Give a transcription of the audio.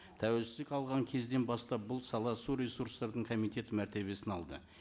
тәуелсіздік алған кезден бастап бұл сала су ресурстардың комитеті мәртебесін алды